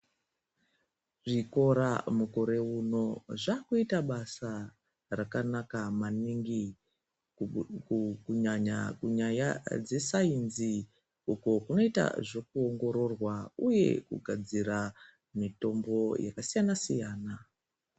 Zvikora mukore uno zvakuita basa raka naka maningi kunyanya kunyaya dze sainzi uko kunoita zveku ongororwa uye kugadzira mitombo yaka siyana siyana.